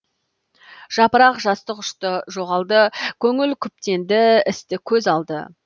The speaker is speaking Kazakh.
жапырақ жастық ұшты жоғалды көңіл күптенді істі көз алды